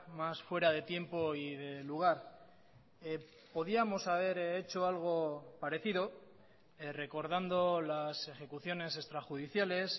más fuera de tiempo y de lugar podíamos haber hecho algo parecido recordando las ejecuciones extrajudiciales